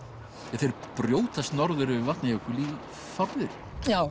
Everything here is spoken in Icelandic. en þeir brjótast norður yfir Vatnajökul í fárviðri já